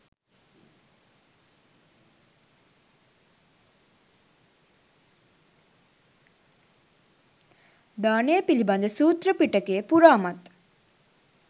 දානය පිළිබඳ සූත්‍ර පිටකය පුරාමත්